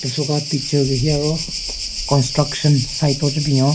Soka picture gu hi aro construction site oo che binyon.